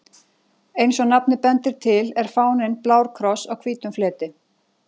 Eins og nafnið bendir til er fáninn blár kross á hvítum fleti.